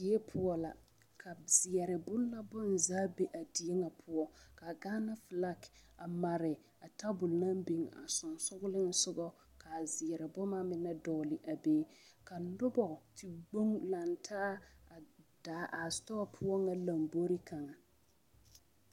Die poɔ la ka zeɛre boŋ la bonzaa be la a die ŋa poɔ ka Gaana filaki a mare tabol naŋ biŋ a sensɔŋlensɔgɔ ka a zeɛre boma mine dɔgle a be te gboŋ lantaa a daa setɔɔ ŋa lomboriŋ kaŋa.